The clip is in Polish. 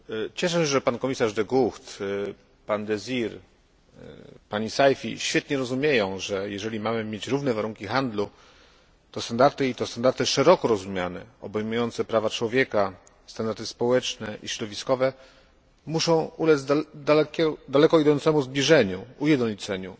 Cieszę się, że pan komisarz De Gucht, pan Désir, pani Saïfi świetnie rozumieją, że jeżeli mamy mieć równe warunki handlu, to standardy i to standardy szeroko rozumiane, obejmujące prawa człowieka, standardy społeczne i środowiskowe muszą ulec daleko idącemu zbliżeniu, ujednoliceniu.